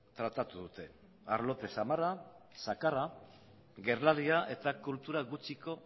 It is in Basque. tratatu dute arlote zamarra zakarra gerlaria eta kultura gutxiko